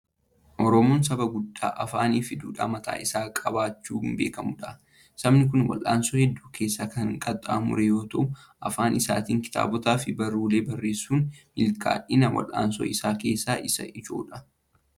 Oromoon saba guddaa afaanii fi duudhaa mataa isaa qabaachuun beekamudha. Sabni kun wal'aansoo hedduu keessa kan qaxxaamure yommuu ta'u, afaan isaatiin kitaabotaa fi barruuwwan barreessuun milkaa'ina wal'aansoo isaa keessaa isa ijoodha.